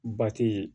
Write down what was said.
Bati